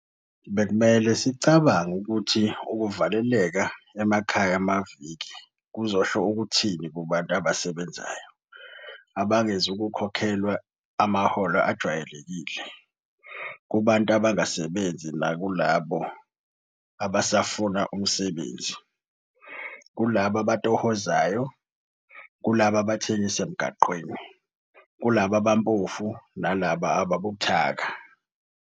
Bekumele sicabange ukuthi ukuvaleleka emakhaya amaviki kuzosho ukuthini kubantu abasebenzayo abangezukukhokhelwa amaholo ajwayelekile, kubantu abangasebenzi nakulabo abasafuna umsebenzi, kulabo abatohozayo, kulabo abathengisa emgwaqeni, kulabo abaphofu nalabo ababuthaka.